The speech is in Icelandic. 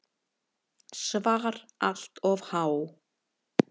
SVAR Allt of há.